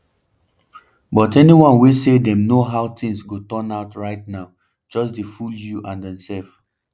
but anyone wey say dem know how tins go turn out right now just dey fool you - and demsef.